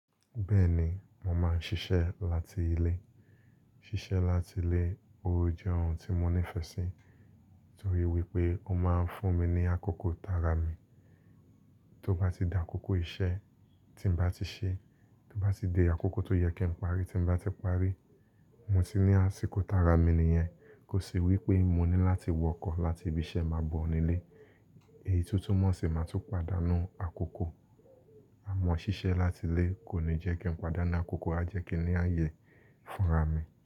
Bẹ́ẹ̀ ni, mo máa ń ṣiṣẹ́ láti ilé. Ṣiṣẹ́ láti ilé, ó jẹ́ ohun tí mo nífẹsí torí wípé ó máa ń fún mi ní àkókò tara mi. Tó bá ti da àkókò iṣẹ́ tí n bá ti ṣe, tó bá ti de àkókò tó yẹ kí n parí tí n bá ti parí, mo ti ní àsìkò tara mi nìyẹn. Kò sí wípé mo ní láti wọkọ̀ láti ibi iṣẹ́ máa bọ̀ ní ilé. Èyí tún tumọ́ ṣi máa tún padànu àkókò. Àmọ́ ṣiṣẹ́ láti ilé kò ní jẹ́ kí n padà nu àkókò, a jẹ́ kí i ní ààyè fúnra mi.